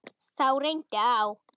Þá reyndi á.